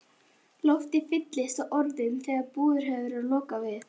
Loftið fylltist af orðum, þegar búðum hafði verið lokað við